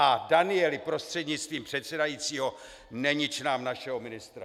A Danieli prostřednictvím předsedajícího, nenič nám našeho ministra.